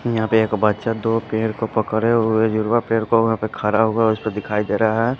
यहाँ पे एक बच्चा दो पेड़ को पकड़े हुए जुरवा पेड़ को वहाँ पे खड़ा हुआ उस पर दिखाई दे रहा है।